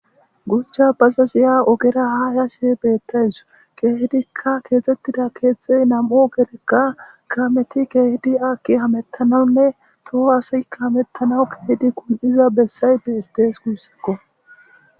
guchcha baza ziya ogera ha hashe beettays kehdikka keexxettida keexxey nam7o gerekka kameti keehidi akki hamettanaunne toho hasaykka hamettanawu keehidi kun7iza bessay beettees guussakko